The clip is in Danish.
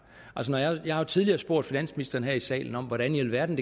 jeg har jo tidligere spurgt finansministeren her i salen om hvordan i alverden